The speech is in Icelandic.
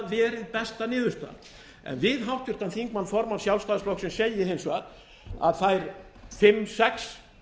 verið besta niðurstaðan en við háttvirtan þingmann formann sjálfstæðisflokksins segi ég hins vegar að þær fimm sex